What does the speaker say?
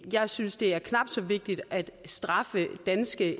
jeg synes det er knap så vigtigt at straffe danske